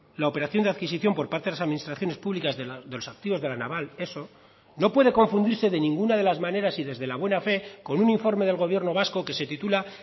la operación de adquisicion por parte de las administraciones públicas de los activos de la naval eso no puede confundirse de ninguna de las maneras y desde la buena fe con un informe del gobierno vasco que se titula